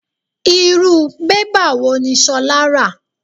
Irú bébà wò ní Sola ra?